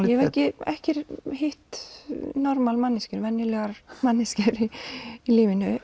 ég hef ekki ekki hitt normal manneskjur venjulegar manneskjur í lífinu